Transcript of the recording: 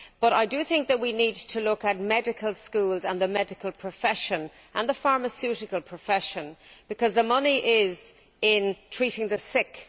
I think that we need to look at medical schools and the medical profession, as well as the pharmaceutical profession, because there is money in treating the sick.